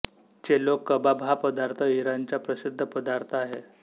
चेलो कबाब हा पदार्थ इराणचा प्रसिद्ध पदार्थ आहे